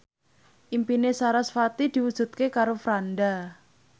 impine sarasvati diwujudke karo Franda